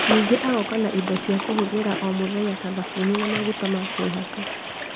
Ningĩ agoka na indo cia kũhũthira o mũthenya ta thabuni na maguta ma kwĩhaka